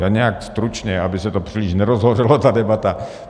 Já nějak stručně, aby se to příliš nerozhořelo ta debata.